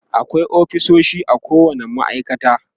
akwai ofisoshi a kowani ma'aikata